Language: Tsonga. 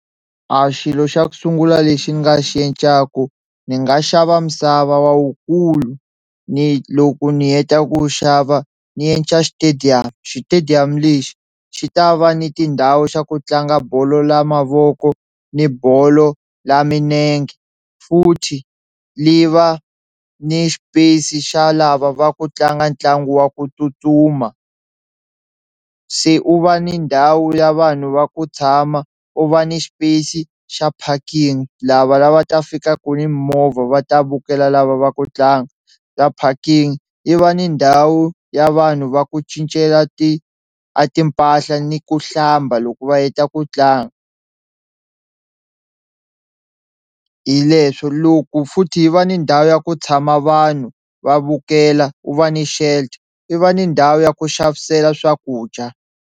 A xilo xa ku sungula lexi ni nga xi encaku ni nga xava misava wa wukulu ni loko ni heta ku xava ni endla xitediyamu xitediyamu lexi xi ta va ni tindhawu xa ku tlanga bolo la mavoko ni bolo la minenge futhi li va ni xipesi xa lava va ku tlanga ntlangu wa ku tsutsuma, se u va ni ndhawu ya vanhu va ku tshama u va ni xipesi xa packing lava lavaku ta fikaku ni movha va ta vukela lava va ku tlanga, la packing i va ni ndhawu ya vanhu va ku cincela ti a timpahla ni ku hlamba loko va heta ku tlanga hi leswo loko futhi yi va ni ndhawu ya ku tshama vanhu va vukela wu va ni shelter yi va ni ndhawu ya ku xavisela swakudya.